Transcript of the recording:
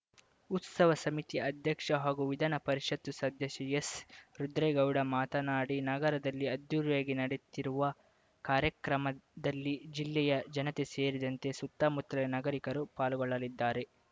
ಉತ್ಸವ ಸಮಿತಿ ಅಧ್ಯಕ್ಷ ಹಾಗೂ ವಿಧಾನ ಪರಿಷತ್‌ ಸದಸ್ಯ ಎಸ್‌ರುದ್ರೇಗೌಡ ಮಾತನಾಡಿ ನಗರದಲ್ಲಿ ಅದ್ಧೂರಿಯಾಗಿ ನಡೆಯುತ್ತಿರುವ ಕಾರ್ಯಕ್ರಮದಲ್ಲಿ ಜಿಲ್ಲೆಯ ಜನತೆ ಸೇರಿದಂತೆ ಸುತ್ತಮುತ್ತಲಿನ ನಾಗರಿಕರು ಪಾಲ್ಗೊಳ್ಳಲಿದ್ದಾರೆ